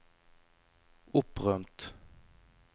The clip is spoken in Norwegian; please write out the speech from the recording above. opprømt